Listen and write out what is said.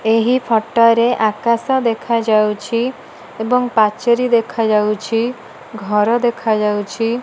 ଏହି ଫଟୋ ରେ ଆକାଶ ଦେଖାଯାଉଚି ଏବଂ ପାଚେରୀ ଦେଖା ଯାଉଚି ଘର ଦେଖାଯାଉଚି।